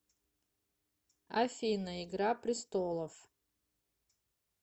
афина игра пристолов